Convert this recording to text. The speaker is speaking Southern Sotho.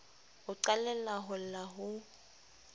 o qalella ho lla ho